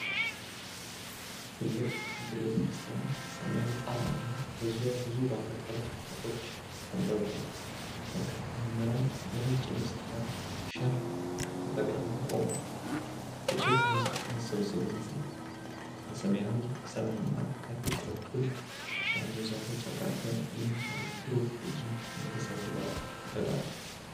ትልቅ ክብ ቤተክርስቲያን፣ ሰማያዊ ጣራና በዙሪያው ብዙ ባለ ቀለም ጨርቆች ተንጠልጥለዋል። በርካታ ምዕመናን በነጭ ልብስና ሻሽ ተጠቅልለው ቆመዋል፤ ትልቅ ሕዝብ መሰባሰቡን ያሳያል። በሰማያዊ ሰማይና ከፊት በኩል ባሉ ዛፎች አቅራቢያ የሚታየው ብሩህ ትዕይንት፣ መንፈሳዊ ድባብ ይፈጥራል።